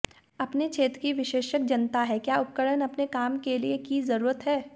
अपने क्षेत्र में विशेषज्ञ जानता है क्या उपकरण अपने काम के लिए की जरूरत है